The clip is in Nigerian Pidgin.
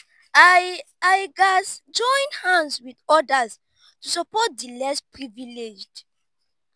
i i gats join hands with others to support di less privileged.